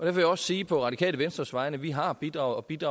jeg også sige på radikale venstres vegne at vi har bidraget